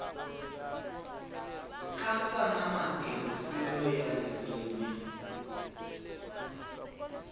katsa na matirhiselo ya ririmi